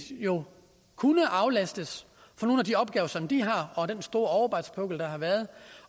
jo kunne aflastes fra nogle af de opgaver som de har og fra den store overarbejdspukkel der har været